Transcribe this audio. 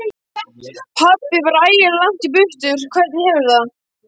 Pabbi var ægilega langt í burtu. Hvernig hefurðu.